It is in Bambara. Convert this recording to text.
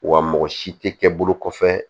Wa mɔgɔ si tɛ kɛ bolo kɔfɛ